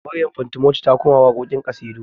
Maryam fantimoti ta koma waƙoƙin ƙasidu